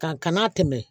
Ka kana tɛmɛ